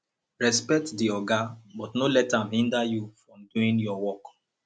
respect di oga but no let am hinder you from doing your work